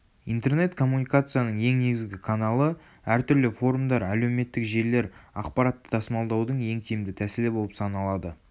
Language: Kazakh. интернет коммуникацияның ең негізгі каналы әртүрлі форумдар әлеуметтік желілер ақпаратты тасымалдаудың ең тиімді тәсілі болып саналады